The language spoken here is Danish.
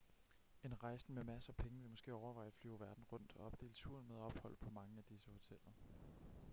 en rejsende med masser af penge vil måske overveje at flyve verden rundt og opdele turen med ophold på mange af disse hoteller